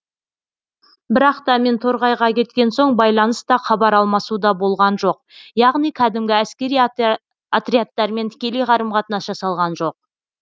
бірақ та мен торғайға кеткен соң байланыс та хабар алмасу да болған жоқ яғни кәдімгі әскери отрядтармен тікелей қарым қатынас жасалған жоқ